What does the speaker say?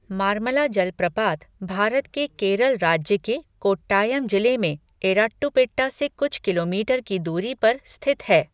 मार्मला जलप्रपात भारत के केरल राज्य के कोट्टायम जिले में एराट्टुपेट्टा से कुछ किलोमीटर की दूरी पर स्थित है।